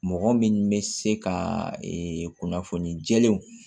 Mɔgɔ min bɛ se ka kunnafoni jɛlenw